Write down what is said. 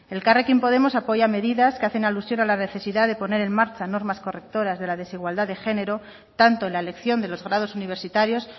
elkarrekin podemos apoya medidas que hacen alusión a la necesidad de poner en marcha normas correctoras de la desigualdad de género tanto en la elección de los grados universitarios